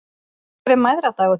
Af hverju er mæðradagur til?